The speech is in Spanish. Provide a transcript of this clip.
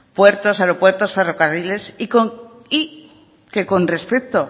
puertos aeropuertos ferrocarriles y que con respecto